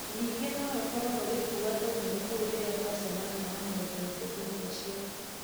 Ningĩ no rũkorũo rũgĩkua tũgunyũ tũu rĩrĩa rwacemania na mũndũ ũngĩ thutha ũcio.